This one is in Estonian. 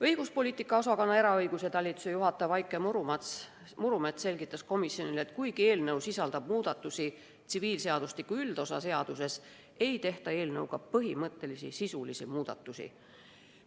Õiguspoliitika osakonna eraõiguse talituse juhataja Vaike Murumets selgitas komisjonile, et kuigi eelnõu sisaldab muudatusi tsiviilseadustiku üldosa seaduses, ei tehta eelnõuga põhimõttelisi sisulisi muudatusi.